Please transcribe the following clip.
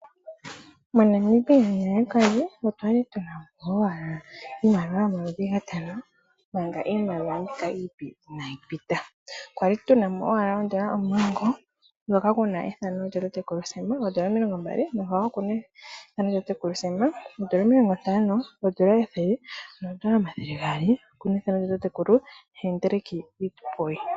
MoNamibia nale kwali otwali tuna owala iimaliwa yomaludhi gatano manga iimaliwa mbika iipe inayi pita. Kwali tuna mo owala oodollar omulongo dhoka kuna owala ethano lyatatekulu Sam, oodollar omilongo mbali nadhowo okuna ethano lyatatekulu Sam, oodollar omilongo ntano, oodollar ethele noodollar omathele gaali okuna ethano lyatatekulu Hendrick Witbooi.